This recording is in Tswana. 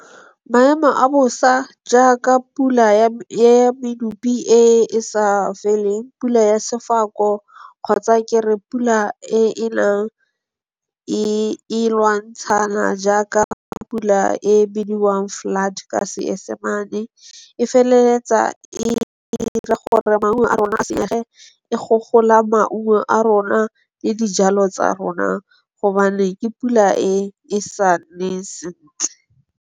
Maemo a bosa jaaka pula ya medupi e e sa feleng, pula ya sefako kgotsa kere pula e nang e lwantshana jaaka pula e bidiwang flood ka Senyesemane, e feleletsa e ira gore maungo a rona a senyege, e gogola maungo a rona le dijalo tsa rona gobane ke pula e e saneng sentle.